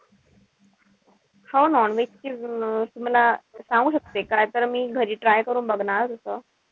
हो non-veg ची मला सांगू शकते का तर मी घरी try करून बघणार.